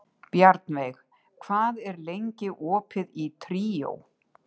Bjarnveig, hvað er lengi opið í Tríó?